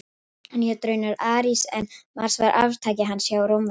Hann hét raunar Ares en Mars var arftaki hans hjá Rómverjum.